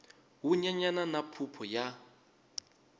wu nyenyana na phuphu ya